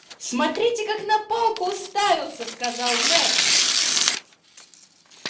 смотрите как на палку уставился сказал мэтт